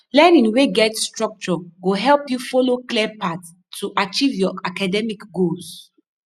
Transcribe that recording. learning wey get structure go help you follow clear path to achieve your academic goals